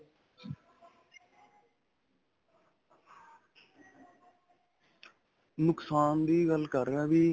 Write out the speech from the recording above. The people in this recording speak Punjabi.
ਨੁਕਸਾਨ ਦੀ ਗੱਲ ਕਰ ਰਿਹਾ ਵੀ.